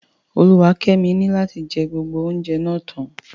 Oluwakemi ni lati jẹ gbogbo oúnjẹ náà tán.